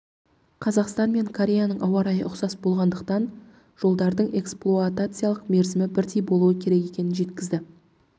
қазақстан мен кореяның ауа-райы ұқсас болғандықтан жолдардың эксплуатациялық мерзімі бірдей болуы керек екенін жеткізді